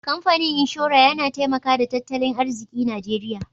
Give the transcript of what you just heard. kamfanin inshora Yana taimaka da tattalin arziki najeria.